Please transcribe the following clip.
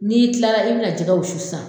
N'i tila la, i bɛna jɛgɛ wusu san.